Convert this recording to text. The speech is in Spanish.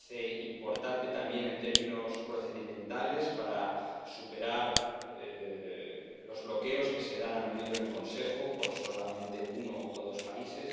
Me parece importante también en términos procedimentales para superar los bloqueos que se dan a menudo en el Consejo por solamente uno o dos países.